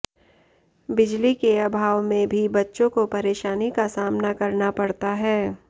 बिजली के अभाव में भी बच्चों को परेशानी का सामना करना पड़ता है